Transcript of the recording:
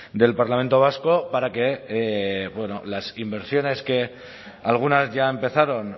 del parlamento vasco para que las inversiones que algunas ya empezaron